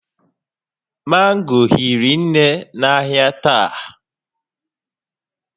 Mango hiri nne n'ahịa taa